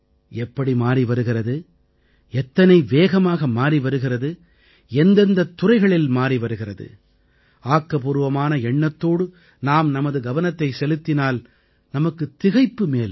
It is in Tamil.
எப்படி மாறி வருகிறது எத்தனை வேகமாக மாறி வருகிறது எந்தெந்தத் துறைகளில் மாறி வருகிறது ஆக்கப்பூர்வமான எண்ணத்தோடு நாம் நமது கவனத்தைச் செலுத்தினால் நமக்குத் திகைப்பு மேலிடும்